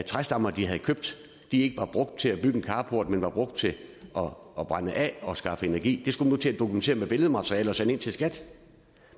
træstammer de havde købt ikke var brugt til at bygge en carport men var brugt til at brænde af og skaffe energi det skulle man nu til at dokumentere med billedmateriale og sende ind til skat